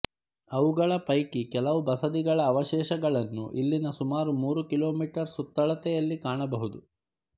ಅವುಗಳ ಪೈಕಿ ಕೆಲವು ಬಸದಿಗಳ ಅವಶೇಷಗಳನ್ನು ಇಲ್ಲಿನ ಸುಮಾರು ಮೂರು ಕಿಲೋಮೀಟರ್ ಸುತ್ತಳತೆಯಲ್ಲಿ ಕಾಣಬಹುದು